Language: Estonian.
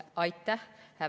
Aitäh!